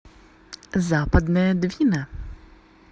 западная двина